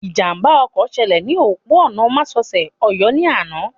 Ìjàmbá ọkọ̀ ṣẹlẹ̀ ní òpópó-ònà másosẹ̀ Ọ̀yọ́ ní àná